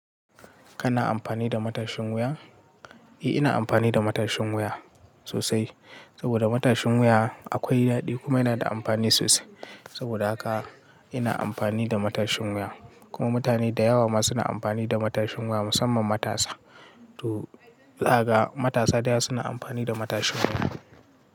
Kana amfani da matashin wuya? Eh, ina amfani da matashin wuya sosai saboda matashin wuya akwai daɗi kuma yana da amfani sosai. Saboda haka ina amfani da matashin wuya. Kuma mutane da yawa ma suna amfani da matashin wuya musamman matasa. To, zakaga matasa da yawa suna amfani da matashin wuya.